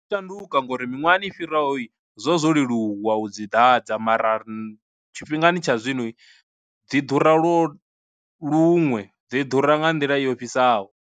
Ndi shanduka ngori miṅwahani i fhiraho i zwo zwo leluwa u dzi ḓadza mara ri tshifhingani tsha zwino, dzi ḓura lwo luṅwe dzi ḓura nga nḓila yo ofhisaho.